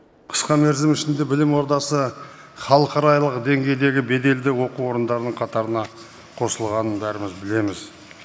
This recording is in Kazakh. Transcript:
қысқа мерзім ішінде білім ордасы халықаралық деңгейдегі беделді оқу орындарының қатарына қосылғанын бәріміз білеміз